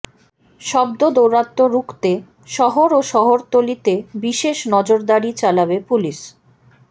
শব্দ দৌরাত্ম্য রুখতে শহর ও শহরতলিতে বিশেষ নজরদাড়ি চালাবে পুলিশ